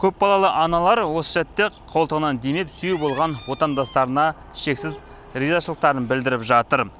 көп балалы аналар осы сәтте ақ қолтығынан демеп сүйеу болған отандастарына шексіз ризашылықтарын білдіріп жатыр